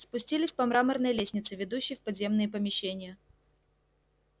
спустились по мраморной лестнице ведущей в подземные помещения